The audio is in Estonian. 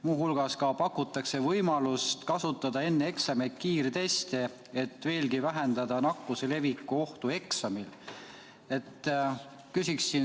Muu hulgas pakutakse võimalust kasutada enne eksameid kiirteste, et veelgi vähendada nakkuse leviku ohtu eksamil.